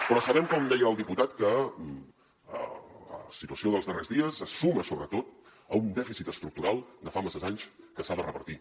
però sabem com deia el diputat que la situació dels darrers dies se suma sobretot a un dèficit estructural de fa masses anys que s’ha de revertir